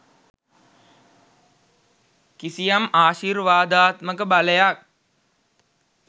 කිසියම් ආශිර්වාදාත්මක බලයක්